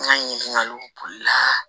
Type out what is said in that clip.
N ka ɲininkaliw la